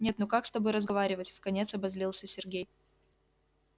нет ну как с тобой разговаривать вконец обозлился сергей